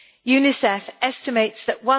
UNICEF estimates that